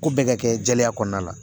Ko bɛɛ ka kɛ jɛlenya kɔnɔna la